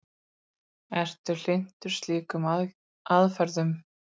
Ertu hlynntur slíkum aðferðum?